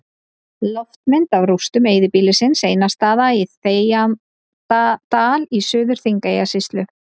Loftmynd af rústum eyðibýlisins Einarsstaða í Þegjandadal í Suður-Þingeyjarsýslu.